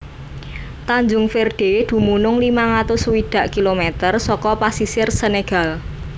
Tanjung Verde dumunung limang atus swidak kilometer saka pesisir Senegal